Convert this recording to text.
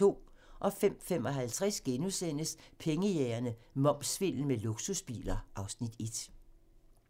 05:55: Pengejægerne - Momssvindel med luksusbiler (Afs. 1)*